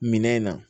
Minɛn in na